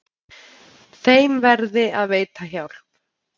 Þeim verði að veita hjálp.